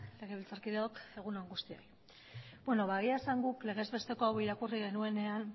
legebiltzarkideok egun on guztioi egia esan guk legez besteko hau irakurri genuenean